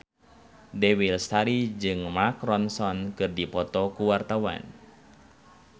Dewi Lestari jeung Mark Ronson keur dipoto ku wartawan